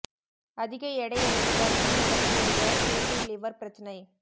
அதிக எடை அல்லது பருமன் உடன் கூடிய ஃபேட்டி லிவர் பிரச்னை